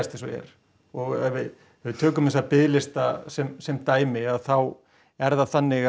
eins og er og ef við tökum þessa biðlista sem sem dæmi þá er það þannig